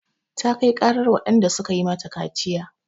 Ta kai ƙarar waɗanda suka yi mata kaciya.